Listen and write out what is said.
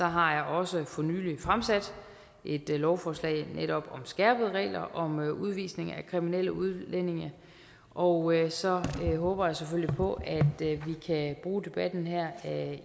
har jeg også for nylig fremsat et lovforslag netop om skærpede regler om udvisning af kriminelle udlændinge og så håber jeg selvfølgelig på at vi kan bruge debatten her